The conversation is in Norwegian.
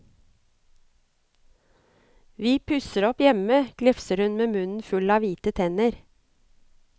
Vi pusser opp hjemme, glefser hun med munnen full av hvite tenner.